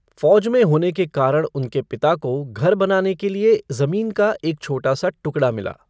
फौज में होने के कारण उनके पिता को घर बनाने के लिए जमीन का एक छोटा सा टुकड़ा मिला।